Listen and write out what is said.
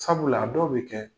Sabula a dɔw bɛ kɛ